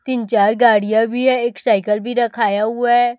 तीन चार गाड़ियां भी है एक साइकिल भी रखाया हुआ है।